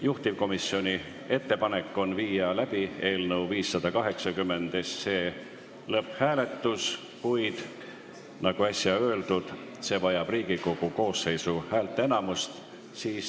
Juhtivkomisjoni ettepanek on viia läbi eelnõu 580 lõpphääletus, kuid nagu äsja öeldud, heakskiitmine vajab Riigikogu koosseisu häälteenamust.